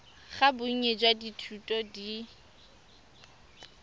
ga bonnye jwa dithuto di